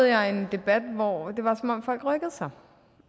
jeg en debat hvor det var som om folk rykkede sig